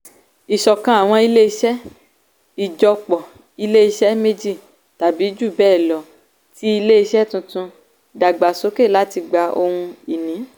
ìṣọ̀kan àwọn ilé-iṣẹ́ - ìjọpọ̀ ilé-iṣẹ́ méjì tàbí jù bẹ́ẹ̀ lọ tí ilé-iṣẹ́ tuntun dàgbàsókè láti gba ohun-ìní.